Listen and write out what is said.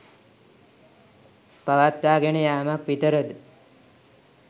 පවත්වාගෙන යාමක් විතරද?